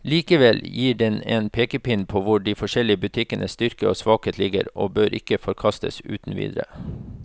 Likevel gir den en pekepinn på hvor de forskjellige butikkenes styrker og svakheter ligger, og bør ikke forkastes uten videre.